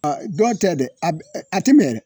dɔn tɛ dɛ a b a ti mɛ rɛ